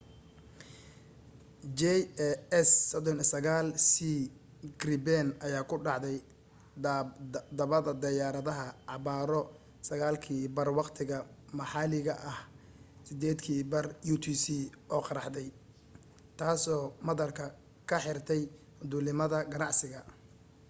jas 39c gripen ayaa ku dhacday dhabbada diyaaradaha abbaaro 9:30 waqtiga maxalliga ah 0230 utc oo qaraxday taasoo madaarka ka xirtay duulimaadada ganacsiga